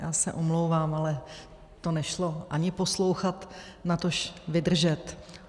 Já se omlouvám, ale to nešlo ani poslouchat, natož vydržet.